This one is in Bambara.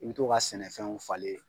I bɛ to ka sɛnɛfɛnw falen.